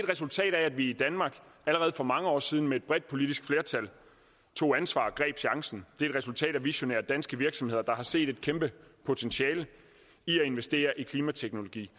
resultat af at vi i danmark allerede for mange år siden med et bredt politisk flertal tog ansvar og greb chancen det er et resultat af visionære danske virksomheder der har set et kæmpe potentiale i at investere i klimateknologi